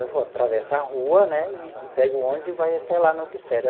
Ele falou, atravessa a rua né e e pega o ônibus e vai até lá no Glicério.